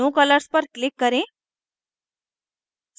no colors पर click करें